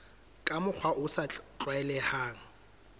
ka mokgwa o sa tlwaelehang